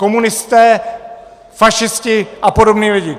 Komunisté, fašisti a podobný lidi!